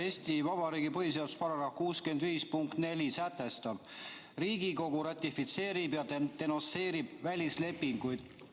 Eesti Vabariigi põhiseaduse § 65 punkt 4 sätestab, et Riigikogu ratifitseerib ja denonsseerib välislepinguid.